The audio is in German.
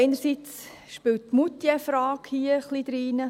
Einerseits spielt die Moutierfrage hier ein wenig hinein.